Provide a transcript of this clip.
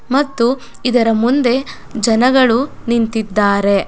ಮತ್ತು ಇದರ ಮುಂದೆ ಜನಗಳು ನಿಂತಿದ್ದಾರೆ--